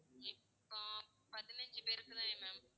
இப்போ, பதினைஞ்சு பேருக்கு தானே ma'am